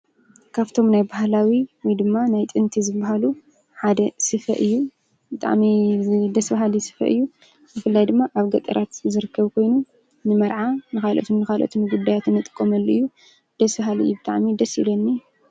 ካፍቶም ናይ ባህላዊ ወይ ድማ ናይ ጥንቲ ዝበሃሉ ሓደ ስፈ እዩ። ብጣዕሚ ደስ በሃሊ ስፈ እዩ። ብፍላይ ድማ ኣብ ገጠራት ዝርከብ ኮይኑ ንመርዓ ንካላኦትን ንካላኦትን ጉዳያት እንጥቀመሉ እዩ። ደስ በሃሊ እዩ። ብጣዕሚ ደስ ይብለኒ።